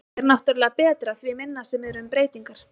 Það er náttúrulega betra því minna sem eru um breytingar.